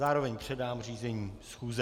Zároveň předám řízení schůze.